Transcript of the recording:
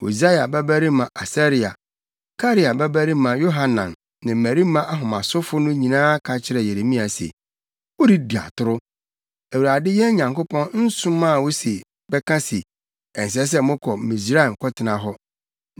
Hosaia babarima Asaria, Karea babarima Yohanan ne mmarima ahomasofo no nyinaa ka kyerɛɛ Yeremia se, “Woredi atoro! Awurade, yɛn Nyankopɔn, nsomaa wo se bɛka se, ‘Ɛnsɛ sɛ mokɔ Misraim kɔtena hɔ.’